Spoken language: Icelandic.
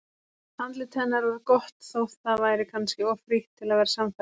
Andlit hennar var gott þótt það væri kannski of frítt til að vera sannfærandi.